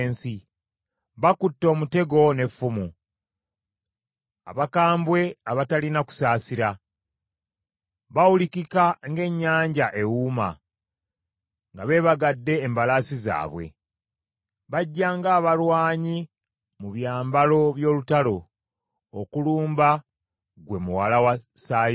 Bakutte omutego n’effumu, abakambwe abatalina kusaasira. Bawulikika ng’ennyanja ewuuma, nga beebagadde embalaasi zaabwe: bajja ng’abalwanyi mu byambalo by’olutalo okulumba ggwe Muwala wa Sayuuni!”